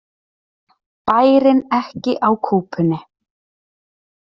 Bærinn ekki á kúpunni